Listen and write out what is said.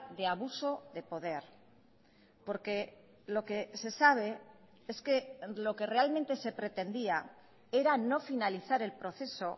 de abuso de poder porque lo que se sabe es que lo que realmente se pretendía era no finalizar el proceso